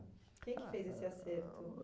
Quem que fez esse acerto?